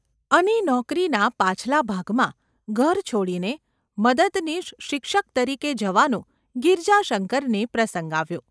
અને નોકરીના પાછલા ભાગમાં ઘર છોડીને મદદનીશ શિક્ષક તરીકે જવાનો ગિરજાશંકરને પ્રસંગ આવ્યો.